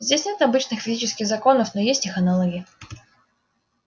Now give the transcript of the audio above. здесь нет обычных физических законов но есть их аналоги